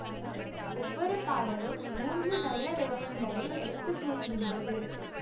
ஒவ்வொரு பாடலும் மூன்று நல்ல விடயங்களை எடுத்து கூறுகின்றது